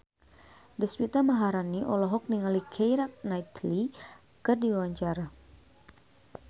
Deswita Maharani olohok ningali Keira Knightley keur diwawancara